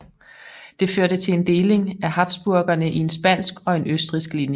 Det førte til en deling af habsburgerne i en spansk og en østrigsk linje